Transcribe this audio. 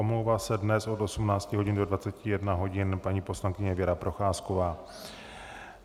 Omlouvá se dnes od 18 hodin do 21 hodin paní poslankyně Věra Procházková.